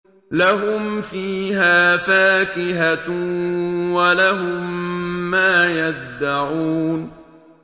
لَهُمْ فِيهَا فَاكِهَةٌ وَلَهُم مَّا يَدَّعُونَ